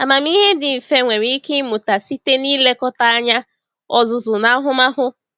Amamihe dị mfe nwere ike ịmụta site n’ilekọta anya, ọzụzụ, na ahụmahụ.